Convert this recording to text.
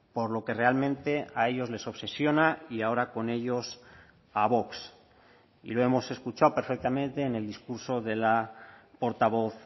por lo que realmente a ellos les obsesiona y ahora con ellos a vox y lo hemos escuchado perfectamente en el discurso de la portavoz